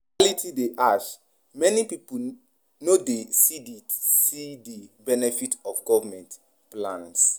Reality dey harsh; many pipo no dey see di see di benefits of government plans.